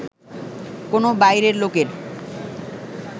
কোনো বাইরের লোকের